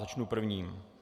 Začnu prvním.